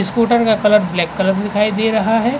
Scooter का colour black colour मे दिखाई दे रहा है।